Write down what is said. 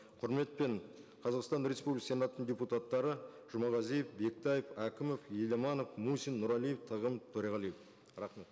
құрметпен қазақстан республикасы сенатының депутаттары жұмағазиев бектаев әкімов еламанов мусин нұрәлиев тағым төреғалиев рахмет